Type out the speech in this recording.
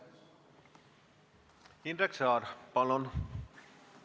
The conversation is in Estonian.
Indrek Saar, palun!